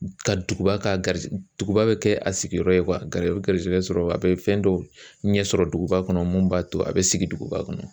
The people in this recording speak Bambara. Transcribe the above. Ka duguba ka duguba bɛ kɛ a sigiyɔrɔ ye a bɛ garisɛgɛ sɔrɔ a bɛ fɛn dɔw ɲɛ sɔrɔ duguba kɔnɔ mun b'a to a bɛ sigi duguba kɔnɔ